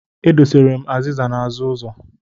E dosara m azịza n'azụ ụzọ.